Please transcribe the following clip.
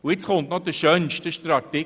Jetzt kommt noch der «schönste» Artikel.